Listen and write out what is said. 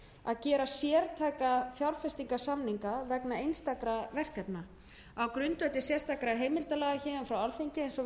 að gera sértæka fjárfestingarsamninga vegna einstakra verkefna á grundvelli sérstakra heimildarlaga frá alþingi eins og við þekkjum orðið